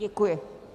Děkuji.